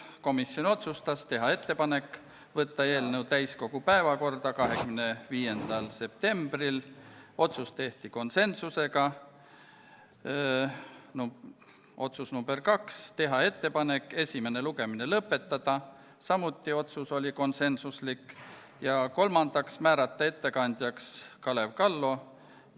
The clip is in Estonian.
Komisjon otsustas teha ettepaneku võtta eelnõu täiskogu päevakorda 25. septembriks , esimene lugemine lõpetada ning määrata ettekandjaks Kalev Kallo .